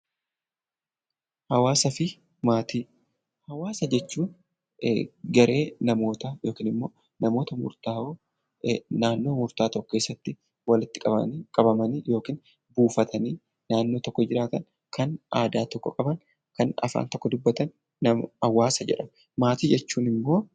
Hawaasaa fi maatii Hawaasa jechuun garee namootaa yookiin immoo namoota murtaawoo naannoo murtaawaa tokko keessatti walitti qabamanii yookiin buufatanii naannoo tokko jiraatan, kan aadaa tokko qaban, kan afaan tokko dubbatan 'Hawaasa' jedhamu.